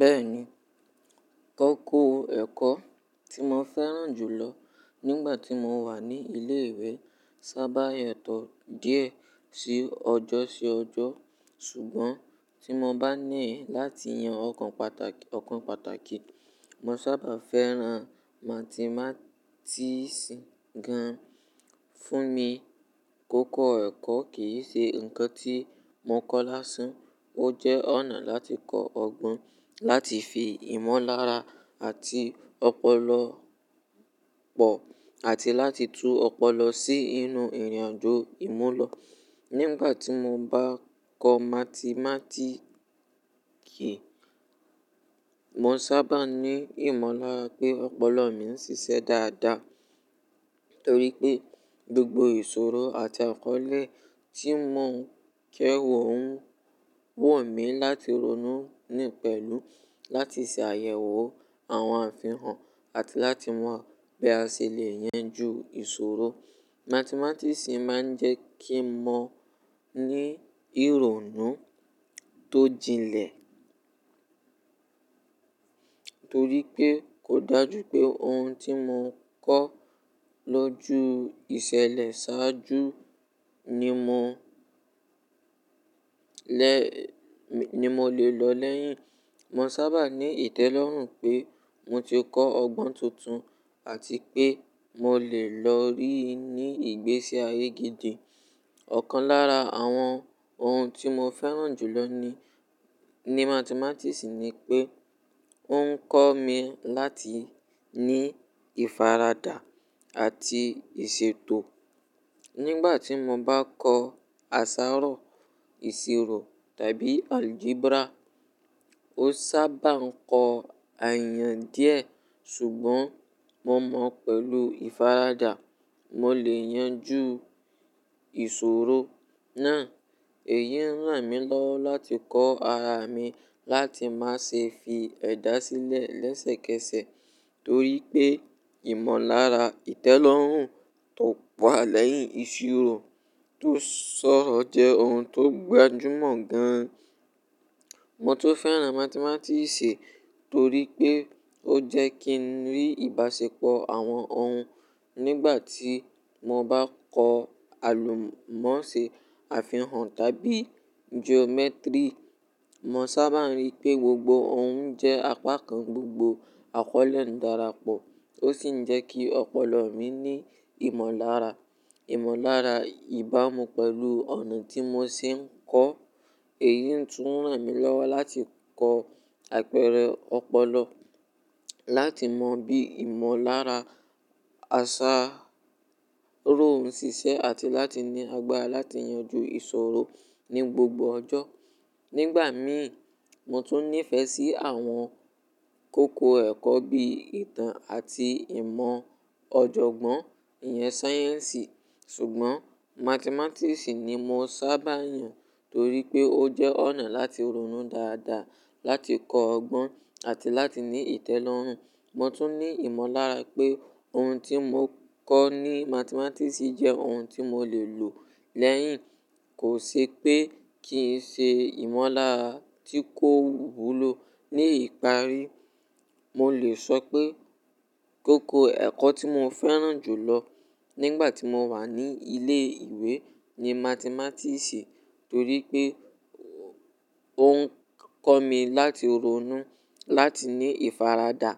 Bẹ́ẹ̀ni, koko ẹ̀kọ́ tí mo fẹ́ràn jù lọ nígbà tí mo wà ní ilé ìwé sábà yàtọ̀ díẹ̀ sí ọjọ́ sí ọjọ́. Ṣùgbọ́n tí mo bá níẹ̀ láti yan ọ̀kan pàtàkì, mo sábà fẹ́ràn mátemátíìsì gan. Mà Fún mi, koko oro ẹ̀kọ́ kì í ṣe nǹkan tí mo kọ́ lásán, ó jẹ́ ọ̀nà láti kọ́ ọgbọ́n, láti fi ìmọ̀lára àti ọpọlọpọ̀ àti láti tú ọpọlọ sí inú ìrìnàjò ìmúlọ̀. Nígbà tí mo bá ń kọ́ mátemátíìsì, mo sábà ní ìmọ̀lára pé ọpọlọ mi ń ṣiṣẹ́ dáadáa. Nítorí pé gbogbo ìṣòro àti àkọ́lé tí mò ń kẹ́wò ń wọ̀ mí láti ronú nínú pẹ̀lú láti ṣe àyẹ̀wò àwọn àfihàn àti láti mọ bí a ṣe le yanjú ìṣòro. Mátemátíìsì máa ń jẹ́ kí mo ní ìrònú tó jinlẹ̀. Nítorí pé ò dájú pé ohun tí mo kọ́ lọ́jú ìṣẹ̀lẹ̀ ṣáájú ní mò ni mo lè lo lẹ́yìn. Mo sábà ní ìtẹ́lọ́rùn pé mo ti kọ́ ọgbọ́n tuntun àti pé mo lè lo rí i ní ìgbésí ayé gidi. Ọ̀kan lára àwọn ohun tí mo fẹ́ràn jù lọ ní mátemátíìsì ni pé ó ń kọ́ mi láti ní ìfaradà àti ìṣètò. Nígbà tí mo bá ń kọ́ àsárọ̀, ìṣirò tàbí aljebra, ó sábà ń kọ àyàn díẹ̀, ṣùgbọ́n mo mọ̀ pẹ̀lú ìfaradà, mo lè yanjú ìṣòro náà. Èyí ń ràn mí lọ́wọ́ láti kọ́ ara mi láti má ṣe fi ẹ̀dá sílẹ̀ lẹ́sẹ̀kẹsẹ̀ torípé ìmọ̀lára ìtẹ́lọ́rùn tó wa lẹ́yìn ìṣirò tó ṣọ̀ọ̀ jẹ́ ohun tó gbajúmọ̀ gan. Mo tún fẹ́ràn mátemátíìsì torípé ó jẹ́ kí n rí ìbáṣepọ̀ àwọn ohun. Nígbà tí mo bá ń kọ́ àlùmọ́nṣé, àfihàn tàbí jomẹ́tírì, mo sábà rí pé gbogbo ohun jẹ́ apá kan gbogbo àkọ́lé ń darapọ̀. Ó sì ń jẹ́ kí ọpọlọ mi ní ìmọ̀lára. Ìmọ̀lára ìbámu pẹ̀lú ọ̀nà tí mo ṣe ń kọ́. Èyí tún ràn mí lọ́wọ́ láti kọ́ àpẹẹrẹ ọpọlọ, láti mọ bí ìmọ̀lára àsárọ̀ ń ṣiṣẹ́ àti láti ní àgbára láti yànjú ìṣòro ní gbógbó ọjọ́. Nígbà mìí, mo tún nífẹ̀ẹ́ sí àwọn kókò ẹ̀kọ́ bí i ìtàn àti ìmọ̀ ọ̀jọ̀gbọ́n, ìyèn sáyẹ́ǹsì. Ṣùgbọ́n mátemátíìsì ni mo sábà yàn torípé ó jẹ́ ọ̀nà láti ronú dáadáa, láti kọ́ ọgbọ́n àti láti ní ìtẹ́lọ́rùn. Mo tún ní ìmọ̀lára pé ohun tí mo kọ́ ní mátemátíìsì jẹ́ ohun tí mo lè lò lẹ́yìn. Kò ṣe pé kìí ṣe ìmọ̀lára tí kò wúlò. Ní ìparí, mo lè sọ pé koko ẹ̀kọ́ tí mo fẹ́ràn jù lọ nígbà tí mo wà ní ilé ìwé ni mátemátíìsì torípé ó ń kọ́ mi láti ronú, láti ní ìfaradà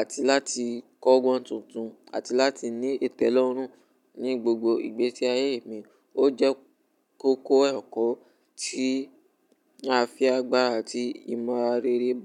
àti láti kọ́ ọgbọ́n tuntun àti láti ní ìtẹ́lọ́rùn ní gbogbo ìgbésí ayé mi. Ó jẹ́ koko ẹ̀kọ́ tí á fi agbára àti ìmọ̀ àra rere gbá.